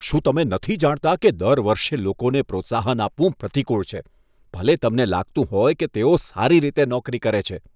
શું તમે નથી જાણતા કે દર વર્ષે લોકોને પ્રોત્સાહન આપવું પ્રતિકૂળ છે, ભલે તમને લાગતું હોય કે તેઓ સારી રીતે નોકરી કરે છે?